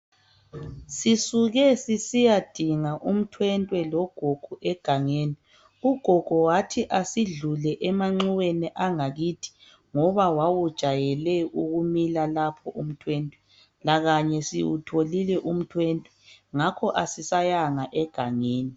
Sisuke sisiyadinga umntwentwe logogo egangeni. Ugogo wathi asidlule emanxuweni angakithi ngoba wawujayele ukumila lapho umthwentwe lakanye siwutholile umthwentwe ngakho asisayanga egangeni.